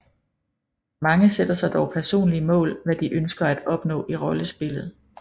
Mange sætter sig dog personlige mål hvad de ønsker at opnå i rollespillet